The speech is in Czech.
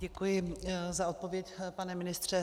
Děkuji za odpověď, pane ministře.